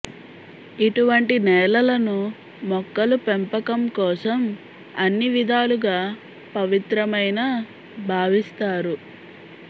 ఇటువంటి నేలలను మొక్కలు పెంపకం కోసం అన్ని విధాలుగా పవిత్రమైన భావిస్తారు